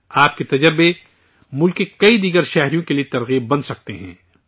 آپ کے تجربات دوسرے کئی اور ہم وطنوں کے لیے حوصلہ افزا ہو سکتے ہیں